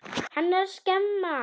Hann er að skemma.